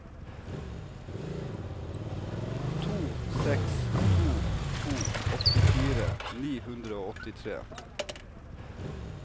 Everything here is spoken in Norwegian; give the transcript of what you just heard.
to seks to to åttifire ni hundre og åttitre